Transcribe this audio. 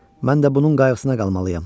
Mən də bunun qayğısına qalmalıyam.